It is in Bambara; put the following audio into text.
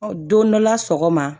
Don dɔ la sɔgɔma